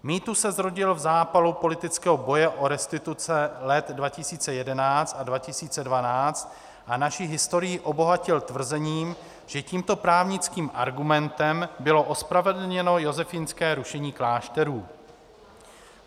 Mýtus se zrodil v zápalu politického boje o restituce let 2011 a 2012 a naši historií obohatil tvrzením, že tímto právnickým argumentem bylo ospravedlněno josefínské rušení klášterů.